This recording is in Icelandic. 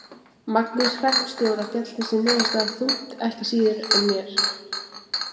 Magnúsi hreppstjóra féll þessi niðurstaða þungt ekki síður en mér.